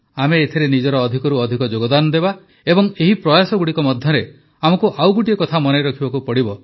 ଆମେ ଏଥିରେ ନିଜର ଅଧିକରୁ ଅଧିକ ଯୋଗଦାନ ଦେବା ଏବଂ ଏହି ପ୍ରୟାସଗୁଡ଼ିକ ମଧ୍ୟରେ ଆମକୁ ଆଉ ଗୋଟିଏ କଥା ମନେ ରଖିବାକୁ ପଡ଼ିବ